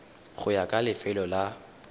go ya ka lefelo la